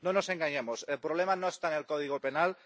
No nos engañemos el problema no está en el Código Penal.